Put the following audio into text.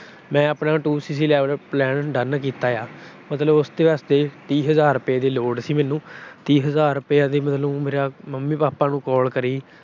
ਮੈਂ ਆਪਣਾ Two CC Level Plan done ਕੀਤਾ ਆ। ਮਤਲਬ ਉਸਦੇ ਵਾਸਤੇ ਤੀਹ ਹਜ਼ਾਰ ਰੁਪਏ ਦੀ ਲੋੜ ਸੀ ਮੈਨੂੰ। ਤੀਹ ਹਜ਼ਾਰ ਰੁਪਏ ਮਤਲਬ ਮੰਮੀ-ਪਾਪਾ ਨੂੰ call ਕਰੀ।